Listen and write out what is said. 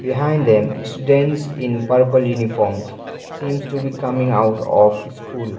behind them students in purple uniforms seems to be coming out of school.